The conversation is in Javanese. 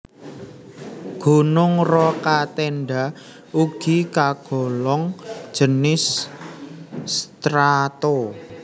Gunung Rokatenda ugi kagolong jinis strato